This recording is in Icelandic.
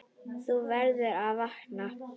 Þú verður að vakna.